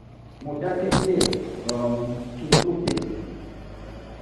mo dákẹ́ díẹ̀ um kí n n tó fèsì